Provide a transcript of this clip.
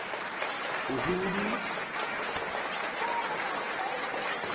huhudi